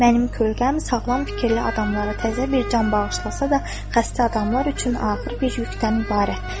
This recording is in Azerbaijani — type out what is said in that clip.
Mənim kölgəm sağlam fikirli adamlara təzə bir can bağışlasa da, xəstə adamlar üçün ağır bir yükdən ibarət.